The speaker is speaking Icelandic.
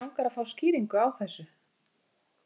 Mig langar að fá skýringu á þessu.